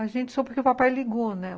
A gente soube porque o papai ligou, né?